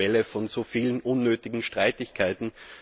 Es ist auch die Quelle von so vielen unnötigen Streitigkeiten.